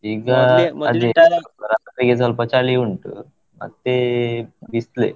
ಈಗ ಅದೇ , ಈಗ ಸ್ವಲ್ಪ ಚಳಿ ಉಂಟು ಮತ್ತೆ ಬಿಸ್ಲೆ.